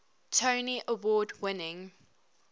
tony award winning